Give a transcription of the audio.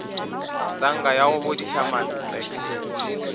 tanka ya go bodiša mantle